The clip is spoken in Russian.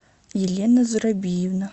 елена зурабиевна